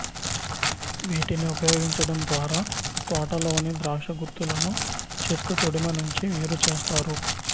వీటిని ఉపయోగించడం ద్వారా తోటలోని ద్రాక్ష గుత్తులను చెట్టు తొడిమ నుంచి వేరుచేస్తారు